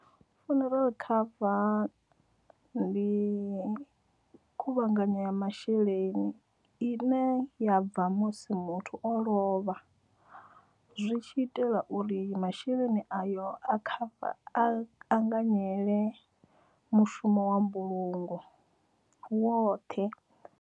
Funeral cover ndi khuvhanganyo ya masheleni i ne ya bva musi muthu o lovha zwi tshi itela uri masheleni ayo a kha a anganyele mushumo wa mbulungo woṱhe.